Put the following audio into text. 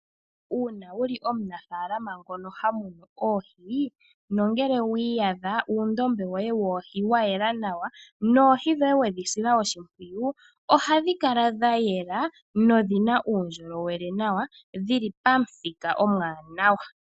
Uuna wu li omunafaalama ngono ha munu oohi nongele wi iyadha uundombe woye woohi wa yela nawa noohi dhoye wedhi sila oshimpwiyu, ohadhi kala dha yela nodhi na uundjolowele nawa, dhi li pamuthika omwaanawa.